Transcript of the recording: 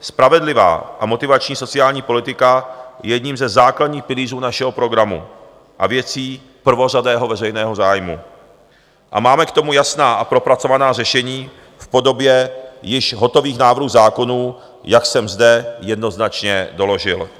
Spravedlivá a motivační sociální politika je jedním ze základních pilířů našeho programu a věcí prvořadého veřejného zájmu a máme k tomu jasná a propracovaná řešení v podobě již hotových návrhů zákonů, jak jsem zde jednoznačně doložil.